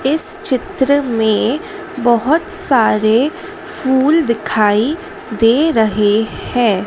इस चित्र में बहोत सारे फूल दिखाई दे रहे हैं।